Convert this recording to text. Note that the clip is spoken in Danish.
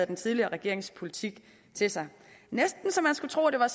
den tidligere regerings politik til sig næsten så man skulle tro at det var